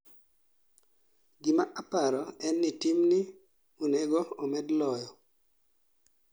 gima aparo en ni timni onego omed loyo